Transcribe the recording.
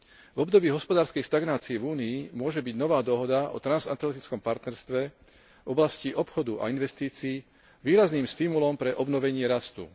V období hospodárskej stagnácie v Únii môže byť nová dohoda o transatlantickom partnerstve v oblasti obchodu a investícií výrazným stimulom pre obnovenie rastu.